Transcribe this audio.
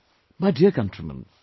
My dear countrymen,